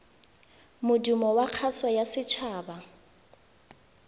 modumo wa kgaso ya setshaba